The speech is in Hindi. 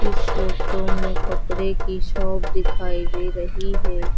इस फोटो में कपड़े की शॉप दिखाई दे रही है।